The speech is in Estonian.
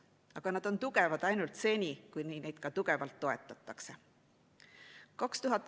Aga nad on tugevad ainult seni, kuni neid ka tugevalt toetatakse.